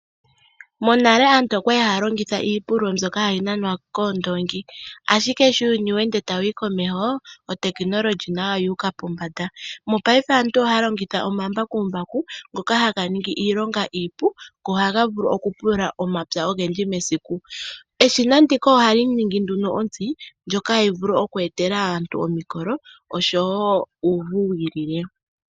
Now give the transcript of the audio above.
Monale aantu okwali haya longitha iipululo mbyoka hayi nanwa koondoongi, ashike sho uuyuni weende tawu yi komeho otekinolohi nayo oyuuka pombanda. Mopaife aantu ohaya longitha omambakumbaku ngoka haga ningi iilonga iipu go ohaga vulu okupulula omapya ogendji mesiku. Eshina ndika ohali ningi nduno ontsi ndjoka hayi vulu oku etela aantu omikolo oshowo uuvu wiilile.